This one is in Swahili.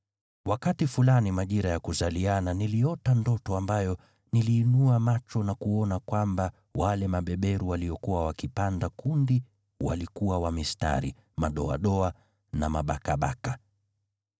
“Wakati fulani majira ya kuzaliana niliota ndoto ambayo niliinua macho na kuona kwamba wale mabeberu waliokuwa wakipanda kundi walikuwa wa mistari, madoadoa na mabakabaka.